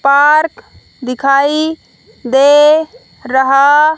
park दिखाई दे रहा--